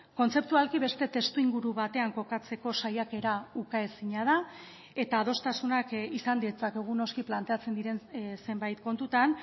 kontzeptualki beste testuinguru batean kokatzeko saiakera ukaezina da eta adostasunak izan ditzakegu noski planteatzen diren zenbait kontutan